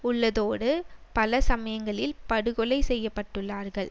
உள்ளதோடு பல சமயங்களில் படுகொலை செய்யப்பட்டுள்ளார்கள்